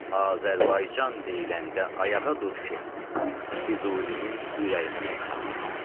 Azərbaycan deyiləndə ayağa dur ki, Füzulinin ürəyinə toxuna bilər.